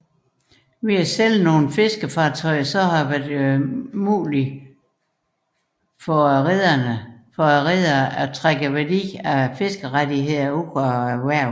Ved salg af fiskefartøjer har det været muligt for rederne at trække værdien af fiskerettighederne ud af erhvervet